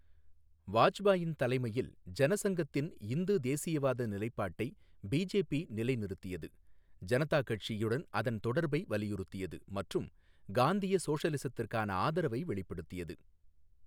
வாஜ்பாயின் தலைமையில் ஜனசங்கத்தின் இந்து தேசியவாத நிலைப்பாட்டை பிஜேபி நிலைநிறுத்தியது, ஜனதா கட்சியுடன் அதன் தொடர்பை வலியுறுத்தியது மற்றும் காந்திய சோசலிசத்திற்கான ஆதரவை வெளிப்படுத்தியது.